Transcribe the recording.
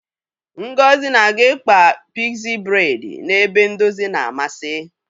Ngozi na-aga ịkpa pigzi bredi n' ebe ndozi na-amasị.